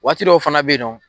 Waati dow fana bɛ yen nɔ.